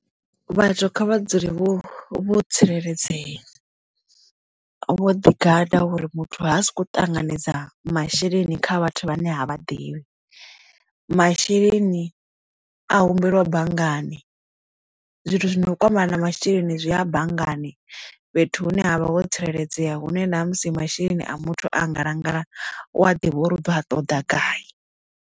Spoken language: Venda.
Vhathu kha vha dzule vho tsireledzea vho ḓi gada uri muthu ha soko ṱanganedza masheleni kha vhathu vhane ha vhaḓivhi masheleni a humbelwa banngani zwithu zwino u kwamana na masheleni zwi a banngani fhethu hune ha vha ho tsireledzea hune na musi masheleni a muthu a ngalangala u a ḓivha uri uḓo a ṱoḓa gai.